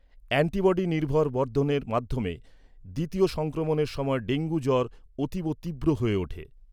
Antibody নির্ভর বর্ধনের মাধ্যমে দ্বিতীয় সংক্রমণের সময় ডেঙ্গু জ্বর অতীব তীব্র হয়ে ওঠে।